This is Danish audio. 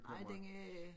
Ej den øh